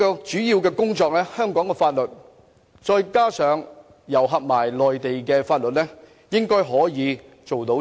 這方面應該可以透過香港法律，再加上內地法律做到的。